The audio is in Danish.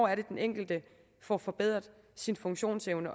er den enkelte får forbedret sin funktionsevne